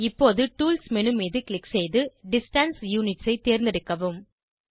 இப்போது tools menu மீது click செய்து டிஸ்டன்ஸ் யுனிட்ஸ் ஐ தேர்ந்தெடுக்கவும்